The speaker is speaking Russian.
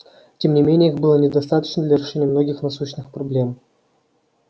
тем не менее их было недостаточно для решения многих насущных проблем